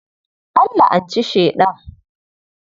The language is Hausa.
An la'anci Sheɗan.